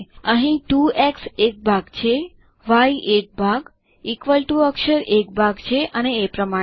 અહીં 2એક્સ એક ભાગ છે ય એક ભાગ ઇક્વલ ટીઓ અક્ષર એક ભાગ છે અને એ પ્રમાણે